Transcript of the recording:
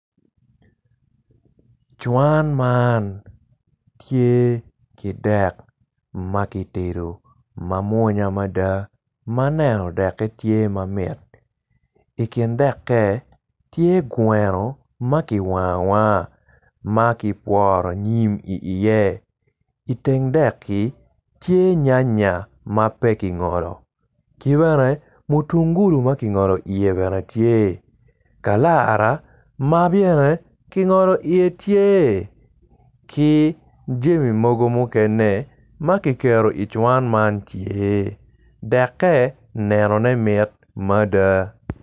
Cuwan man tye ki dek makitedo mamwonya mada maneno deke tye mamit i kin dekke tye gweno maki wango awanga makipworo nyim i iye i teng deki tye nyanya mapekingolo kibene mutungulu makingolo i ye bene tye kalara mabene kingolo iye bene tye ki jami mogo mukene makiketo i cowan man tye dekke nenone mit mada.